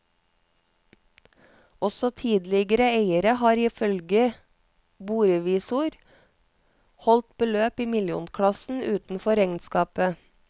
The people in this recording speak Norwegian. Også tidligere eiere har ifølge borevisor holdt beløp i millionklassen utenfor regnskapet.